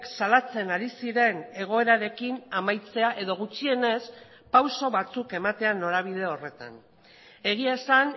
salatzen ari ziren egoerarekin amaitzea edo gutxienez pauso batzuk ematea norabide horretan egia esan